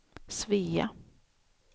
Svea